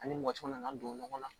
Ani mɔcɔ nana don ɲɔgɔn na